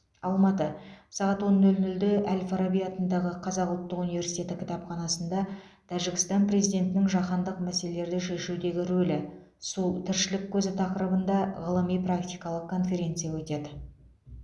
алматы сағат он нөл нөлде әл фараби атындағы қазақ ұлттық университеті кітапханасында тәжікстан президентінің жаһандық мәселелерді шешудегі рөлі су тіршілік көзі тақырыбында ғылыми практикалық конференция өтеді